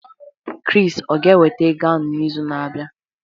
Chris o ga-eweta ego ahụ n'izu na-abịa?